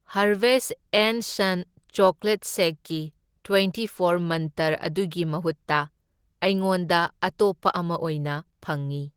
Harveys ꯑꯦꯟ ꯁꯟ chocolate ꯁꯦꯛꯀꯤ ꯇꯋ꯭ꯦꯟꯇꯤ ꯐꯣꯔ ꯃꯟꯇ꯭ꯔ ꯑꯗꯨꯒꯤ ꯃꯍꯨꯠꯇ ꯑꯩꯉꯣꯟꯗ ꯑꯇꯣꯞꯄ ꯑꯃ ꯑꯣꯏꯅ ꯐꯪꯢ꯫